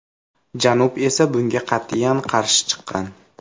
Janub esa bunga qat’iyan qarshi chiqqan.